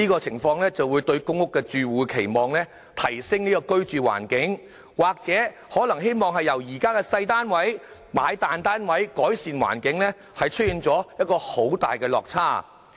由於公屋住戶期望提升居住環境，希望由現時的細單位轉買大單位，我估計這與他們的期望出現很大落差。